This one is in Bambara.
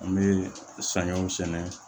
An bɛ saɲɔw sɛnɛ